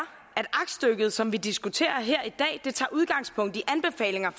aktstykket som vi diskuterer her i dag tager udgangspunkt i anbefalinger